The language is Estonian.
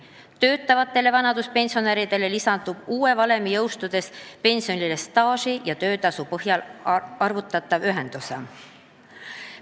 Töötavatel vanaduspensionäridel lisandub uue valemi jõustudes pensionile staaži ja töötasu põhjal arvutatav ühendosa.